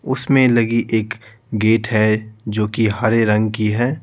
उसमें लगी एक गेट है जो कि हरे रंग की है।